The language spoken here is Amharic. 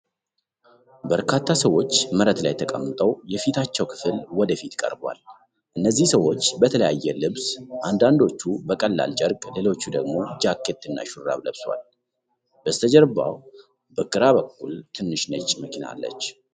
በርካታ ሰዎች መሬት ላይ ተቀምጠው የፊታቸው ክፍል ወደ ፊት ቀርቧል። እነዚህ ሰዎች በተለያየ ልብስ፣ አንዳንዶቹ በቀላል ጨርቅ፣ ሌሎች ደግሞ ጃኬት እና ሹራብ ለብሰዋል። በስተጀርባ በግራ በኩል ትንሽ ነጭ መኪና አለች።